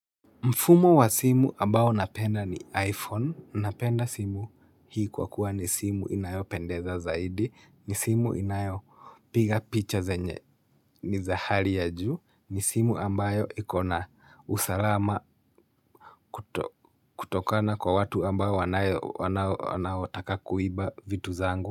Mfumo wa simu ambayo napenda ni iPhone, napenda simu hii kwa kuwa ni simu inayopendeza zaidi, ni simu inayopiga picha zenye ni zahari ya juu, ni simu ambayo ikona usalama kutokana kwa watu ambao wanaotaka kuiba vitu zangu.